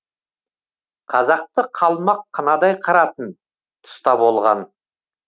қазақты қалмақ қынадай қыратын тұста болған